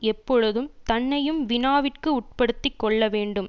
எப்பொழுதும் தன்னையும் வினாவிற்கு உட்படுத்திக் கொள்ள வேண்டும்